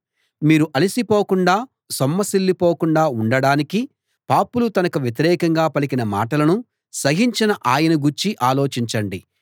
మీరు అలసి పోకుండా సొమ్మసిల్లి పోకుండా ఉండడానికి పాపులు తనకు వ్యతిరేకంగా పలికిన మాటలను సహించిన ఆయనను గూర్చి ఆలోచించండి